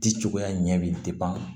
Di cogoya ɲɛ bɛ